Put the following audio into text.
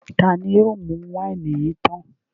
Ta ni yóò mú wáìnì yìí tán?